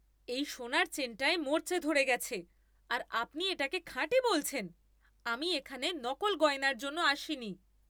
এই সোনার চেনটায় মরচে ধরে গেছে আর আপনি এটাকে খাঁটি বলছেন? আমি এখানে নকল গয়নার জন্য আসিনি!